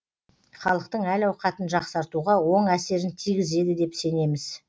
халықтың әл ауқатын жақсартуға оң әсерін тигізеді деп сенеміз